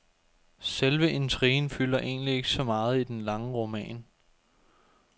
Selve intrigen fylder egentlig ikke så meget i denne lange roman.